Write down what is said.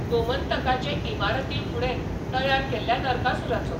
गोमंतकाचे इमारतीफुडें तयार केल्ल्या नरकासुराचो.